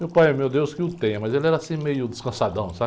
Meu pai, aí, meu deus, que o tenha, mas ele era assim meio descansadão, sabe?